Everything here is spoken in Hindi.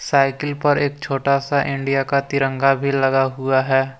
साइकिल पर एक छोटा सा इंडिया का तिरंगा भी लगा हुआ है।